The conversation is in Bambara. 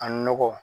A nɔgɔ